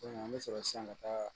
an bɛ sɔrɔ sisan ka taa